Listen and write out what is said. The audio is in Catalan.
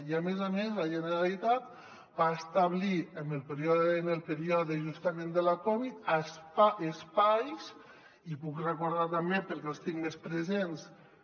i a més a més la generalitat va establir en el període justament de la covid espais i ho puc recordar també perquè els tinc més presents